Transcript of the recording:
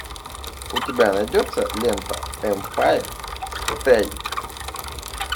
у тебя найдется лента эмпайр стейт